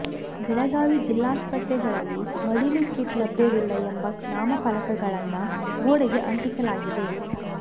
ಬೆಳಗಾವಿ ಜಿಲ್ಲಾಸ್ಪತ್ರೆಗಳಲ್ಲಿ ಮಡಿಲು ಕಿಟ್ ಲಭ್ಯವಿಲ್ಲ ಎಂಬ ನಾಮಫಲಕಗಳನ್ನ ಗೋಡೆಗೆ ಅಂಟಿಸಲಾಗಿದೆ